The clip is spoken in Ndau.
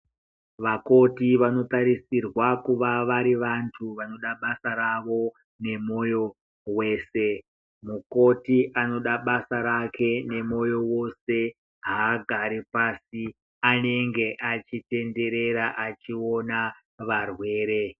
Vakoti vanotarisirwa kuva vari vantu vanoda basa ravo nemoyo wese. Mukoti anoda basa rake nemoyo wose, haagari pasi. Anenge achitenderera achiona varwere.